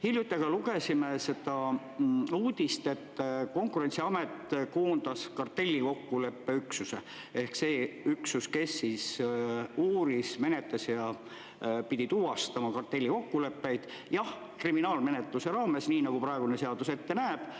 Hiljuti aga lugesime uudist, et Konkurentsiamet koondas kartellikokkuleppe üksuse ehk selle üksuse, kes uuris, menetles ja pidi tuvastama kartellikokkuleppeid – jah, kriminaalmenetluse raames, nii nagu praegune seadus ette näeb.